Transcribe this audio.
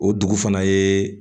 O dugu fana ye